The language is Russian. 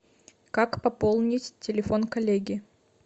как пополнить телефон коллеги